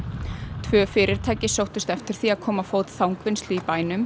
tvö fyrirtæki sóttust eftir því að koma á fót þangvinnslu í bænum